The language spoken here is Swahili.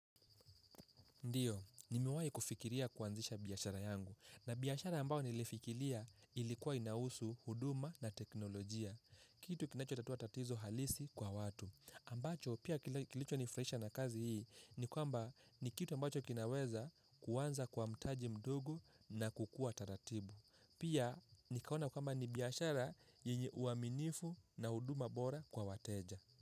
Ndiyo, nimewahi kufikiria kuanzisha biashara yangu. Na biashara ambayo nilifikiria ilikuwa inahusu, huduma na teknolojia. Kitu kinachotatua tatizo halisi kwa watu. Ambacho, pia kilichonifurahisha na kazi hii, ni kitu ambacho kinaweza kuanza kwa mtaji mdogo na kukua taratibu. Pia, nikaona kama ni biashara yenye uaminifu na huduma bora kwa wateja.